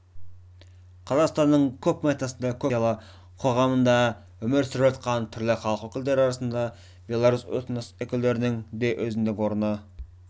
қазақстанның көпэтносты көп конфессиялы қоғамында өмір сүріп жатқан түрлі халық өкілдері арасында белорус этнос өкілдерінің де өзіндік орны